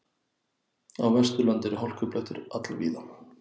Á Vesturlandi eru hálkublettir all víða